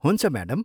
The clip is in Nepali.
हुन्छ, म्याडम।